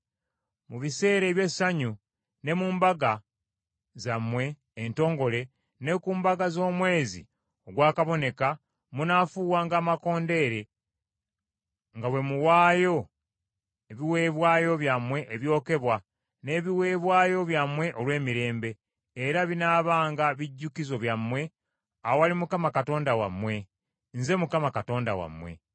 Mu biseera eby’essanyu, ne ku mbaga zammwe entongole ne ku mbaga z’omwezi ogwakaboneka, munaafuuwanga amakondeere nga bwe muwaayo ebiweebwayo byammwe ebyokebwa n’ebiweebwayo byammwe olw’emirembe, era binaabanga bijjukizo byammwe awali Katonda wammwe. Nze Mukama Katonda wammwe.”